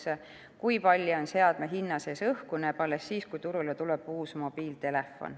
Seda, kui palju on seadme hinna sees õhku, näeb alles siis, kui turule tuleb uus mobiiltelefon.